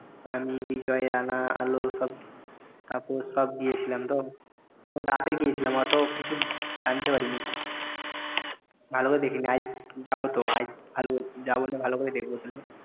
আমি, বিজয়, রানা, আলো সব তাপস সব গিয়েছিলাম তো আমরা রাতে গিয়েছিলাম অত কিছু জানতে পারিনিকো ভালোভাবে দেখিনি আজ যাব তো আজ ভালো যাবনে ভাল করে দেখব তাহলে